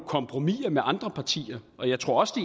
kompromis med andre partier og jeg tror også